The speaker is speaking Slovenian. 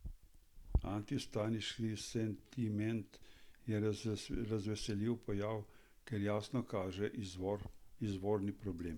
Antivstajniški sentiment je razveseljiv pojav, ker jasno kaže izvorni problem.